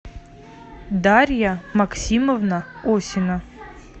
дарья максимовна осина